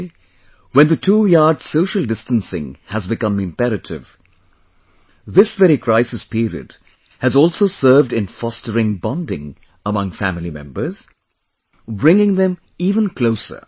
Today, when the two yard social distancing has become imperative, this very crises period has also served in fostering bonding among family members, bringing them even closer